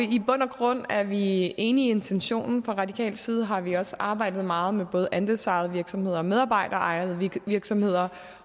grund er vi enige i intentionen fra radikal side har vi også arbejdet meget med både andelsejede virksomheder og medarbejderejede virksomheder